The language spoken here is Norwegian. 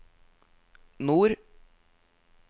nord